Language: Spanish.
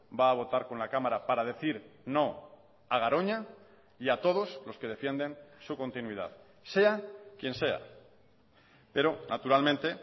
va a votar con la cámara para decir no a garoña y a todos los que defienden su continuidad sea quien sea pero naturalmente